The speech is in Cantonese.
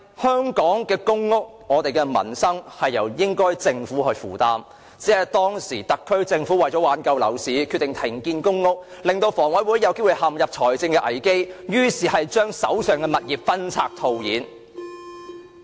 香港的公屋、我們的民生應該由政府負擔，只因當時的特區政府為挽救樓市而決定停建居屋，致令香港房屋委員會陷入財政危機，於是將手上的物業分拆套現。